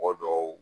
Mɔgɔ dɔw